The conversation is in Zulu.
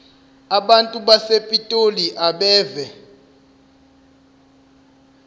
abantu basepitoli abeve